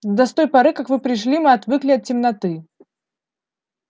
да с той поры как вы пришли мы отвыкли от темноты